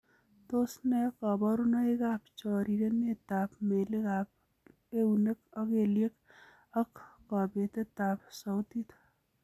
Tos nee koborunoikab chorirenetab melikab eunek ak kelyek ak kobetetab soutit?